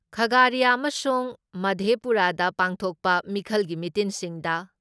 ꯈꯥꯒꯥꯔꯤꯌꯥ ꯑꯃꯁꯨꯡ ꯃꯥꯙꯦꯄꯨꯔꯥꯗ ꯄꯥꯡꯊꯣꯛꯄ ꯃꯤꯈꯜꯒꯤ ꯃꯤꯇꯤꯟꯁꯤꯡꯗ